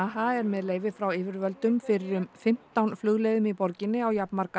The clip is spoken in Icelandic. er með leyfi frá yfirvöldum fyrir um fimmtán flugleiðum í borginni á jafnmarga